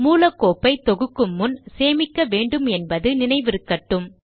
மூல கோப்பை தொகுக்கும் முன் சேமிக்க வேண்டுமென்பது நினைவிருக்கட்டும்